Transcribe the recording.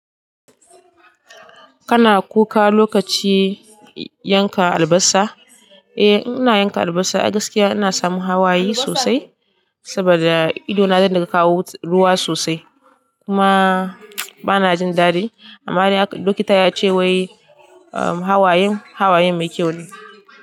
Kana kuka lokacin yanka albasa? Eh in ina yanka albasa a gaskiya ina samu hawaye sosai saboda idona zai dinga kawo ruwa sosai. Kuma bana jin daɗi amma dai likita yace wai hawayen, hawaye mai kyau ne.